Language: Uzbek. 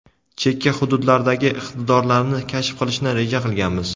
chekka hududlardagi iqtidorlarni kashf qilishni reja qilganmiz.